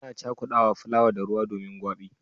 Ana cakudawa fulawa da ruwa domin gwabi.